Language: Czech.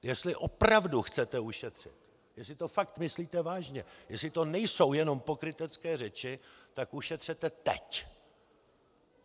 Jestli opravdu chcete ušetřit, jestli to fakt myslíte vážně, jestli to nejsou jenom pokrytecké řeči, tak ušetřete teď!